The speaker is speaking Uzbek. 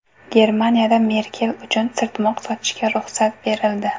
Germaniyada Merkel uchun sirtmoq sotishga ruxsat berildi.